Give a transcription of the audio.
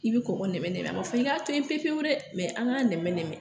I bɛ kɔkɔ nɛmɛ nɛmɛ, a ma fɔ k'i k'a to yen pepwu pewu dɛ, mɛ an k'a nɛmɛ nɛmɛ nɛmɛn.